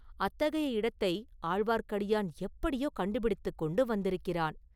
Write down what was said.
அத்தகைய இடத்தை ஆழ்வார்க்கடியான் எப்படியோ கண்டுபிடித்துக் கொண்டு வந்திருக்கிறான்!